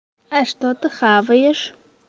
а что ты хаваешь